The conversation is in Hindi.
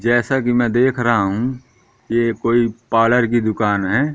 जैसा कि मैं देख रहा हूं ये कोई पार्लर की दुकान है।